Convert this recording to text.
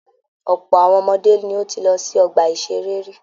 Ọ̀pọ̀ àwọn ọmọdé ní o tíí lọ sí ọgbà iṣere rí.